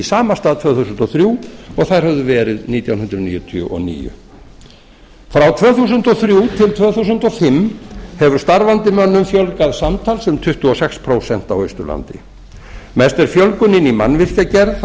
sama stað tvö þúsund og þrjú og þær höfðu verið nítján hundruð níutíu og níu frá tvö þúsund og þrjú til tvö þúsund og fimm hefur starfandi mönnum fjölgað samtals um tuttugu og sex prósent á austurlandi mest er fjölgunin í mannvirkjagerð þar